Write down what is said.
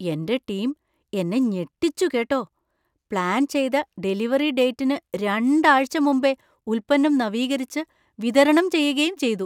എന്‍റെ ടീം എന്നെ ഞെട്ടിച്ചു, കേട്ടോ! പ്ലാൻ ചെയ്ത ഡെലിവറി ഡേറ്റിന് രണ്ടാഴ്ച മുമ്പേ ഉൽപ്പന്നം നവീകരിച്ചു, വിതരണം ചെയ്യുകയും ചെയ്തു.